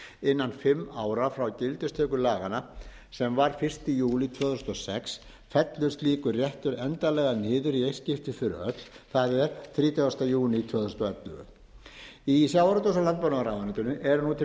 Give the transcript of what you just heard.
innan fimm ára frá gildistöku laganna sem var fyrsta júlí tvö þúsund og sex fellur slíkur réttur endanlega niður í eitt skipti fyrir öll það er þrítugasta júní tvö þúsund og ellefu í sjávarútveg og landbúnaðarráðuneytinu er nú til